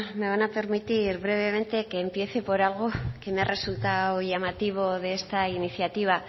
me van a permitir brevemente que empiece por algo que me ha resultado llamativo de esta iniciativa